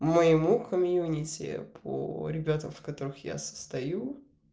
моему комьюнити по ребятам в которых я состою